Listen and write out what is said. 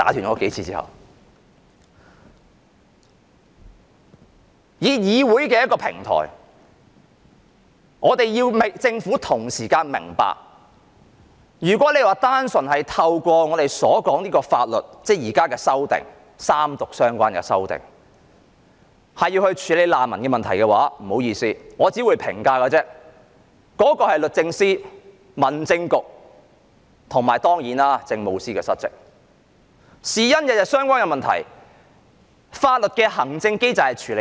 我們利用議會的平台，希望政府明白，如果寄望法律，即現時進行三讀的法案，便能夠處理難民問題，那但不好意思，我能好說律政司司長、民政事務局局長及政務司司長失職，原因是難民的問題與他們息息相關，法律的機制卻無法處理。